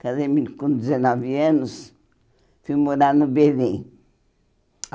Casei - me com dezenove anos, fui morar no Berim.